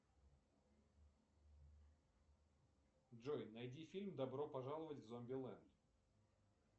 джой найди фильм добро пожаловать в зомбилэнд